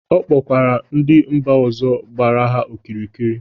Ọ kpọkwara ndị mba ọzọ gbara ha okirikiri.